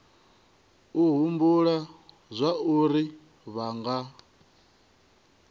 u humbula zwauri vha nga